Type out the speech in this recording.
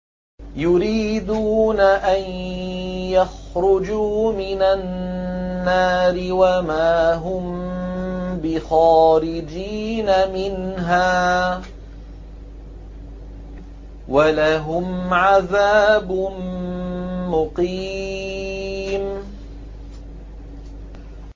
يُرِيدُونَ أَن يَخْرُجُوا مِنَ النَّارِ وَمَا هُم بِخَارِجِينَ مِنْهَا ۖ وَلَهُمْ عَذَابٌ مُّقِيمٌ